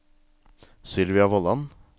Sylvia Vollan